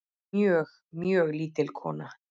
Mjög, mjög lítil kona.